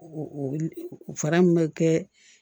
Fara min bɛ kɛ